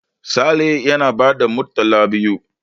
Sale yana ba da murtala biyu.